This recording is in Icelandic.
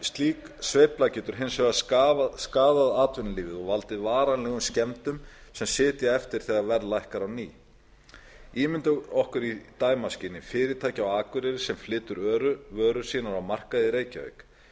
slík sveifla getur hins vegar skaðað atvinnulífið og valdið varanlegum skemmdum sem sitja eftir þegar verð lækkar á ný ímyndum okkur í dæmaskyni fyrirtæki á akureyri sem flytur vörur sínar á markað í reykjavík